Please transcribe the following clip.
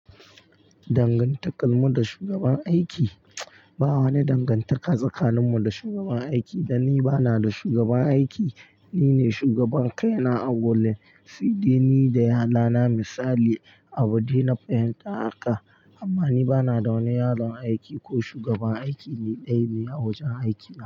Dangantakarmu da shugaban aiki? Ba wani dangantaka tsakaninmu da shugaban aiki danni banada shugaban aiki, nine shugaban kaina a gurin, sai dai nida yalanana misali. Abun dana fahimta haka amma ni banada wani yaron aiki ko shugaban aiki ni dayane a wajen aikina.